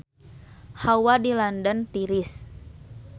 Hawa di London tiris